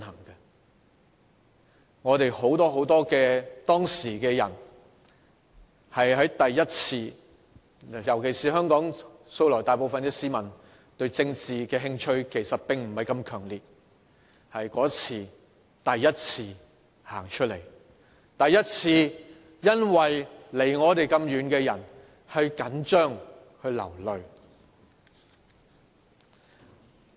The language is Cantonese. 當時很多人都是第一次上街，尤其是香港大部分市民素來對政治興趣並不太強烈，但那次是第一次走出來，第一次為那些離我們那麼遠的人緊張、流淚。